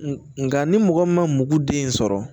Nka ni mɔgɔ min ma mugu den sɔrɔ